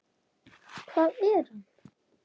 Hvað er hann?